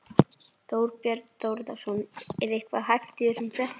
Þorbjörn Þórðarson: Er eitthvað hæft í þessum fréttum?